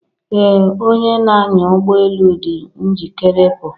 Ee Onye n'anya ụgbọ elu dị njikere ịpụ.